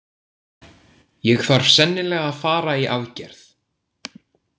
Ég þarf sennilega að fara í aðgerð.